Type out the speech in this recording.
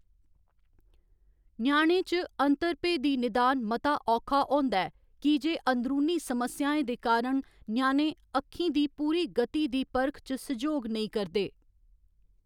ञ्याणें च, अंतर भेदी निदान मता औखा होंदा ऐ की जे अंदरूनी समस्याएं दे कारण ञ्याणे अक्खीं दी पूरी गति दी परख च सैह्‌‌योग नेईं करदे।